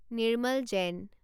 Nirmal Zain